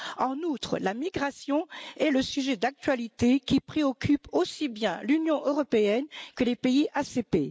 En outre, la migration est le sujet d'actualité qui préoccupe aussi bien l'Union européenne que les pays ACP.